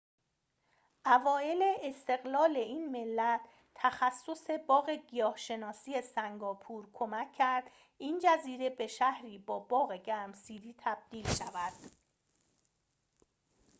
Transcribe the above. اوایل استقلال این ملت تخصص باغ گیاه‌شناسی سنگاپور کمک کرد این جزیره به شهری با باغ گرمسیری تبدیل شود